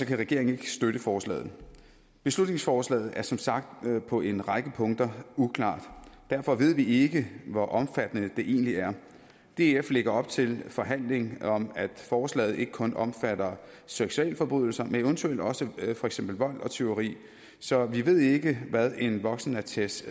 kan regeringen ikke støtte forslaget beslutningsforslaget er som sagt på en række punkter uklart derfor ved vi ikke hvor omfattende det egentlig er df lægger op til forhandling om at forslaget ikke kun omfatter seksualforbrydelser men eventuelt også for eksempel vold og tyveri så vi ved ikke hvad en voksenattest